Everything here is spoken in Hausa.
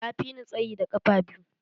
Ya fi ni tsayi da ƙafa biyu.